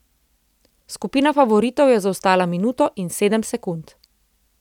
Skupina favoritov je zaostala minuto in sedem sekund.